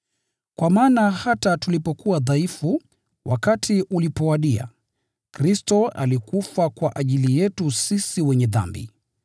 Kwa maana hata tulipokuwa dhaifu, wakati ulipowadia, Kristo alikufa kwa ajili yetu sisi wenye dhambi.